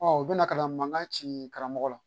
u bɛ na ka na mankan ci karamɔgɔ la